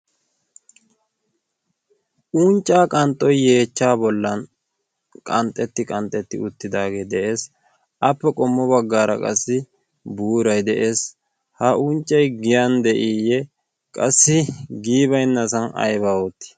unccaa qanxxoy yeechcha bollan qanxxetti qanxxetti uttidaagee de'ees. appe qommo baggaara qassi buuray de'ees. ha unccay giyan de'iiyye qassi giibainnasan aybee?